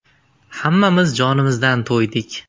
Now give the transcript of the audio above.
Hammamiz jonimizdan to‘ydik.